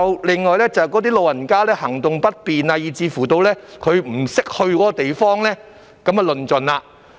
另外，有些老人家行動不便，又或是不懂得前往這地方便麻煩了。